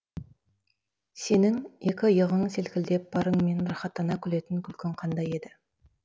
сенің екі иығың селкілдеп барыңмен рақаттана күлетін күлкің қандай еді